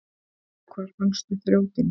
Hvar fannstu þrjótinn?